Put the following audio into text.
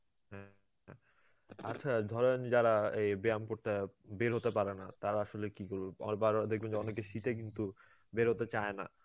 হম আচ্ছা ধরেন যারা এই ব্যায়াম করতে অ্যাঁ বের হতে পারেনা, তারা আসলে কি করবে? আবার বার বার দেখবেন যে অনেকে শীতে কিন্তু বেরোতে চায়না